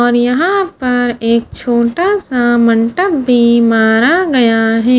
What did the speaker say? और यहां पर एक छोटा सा मंटप भी मारा गया है।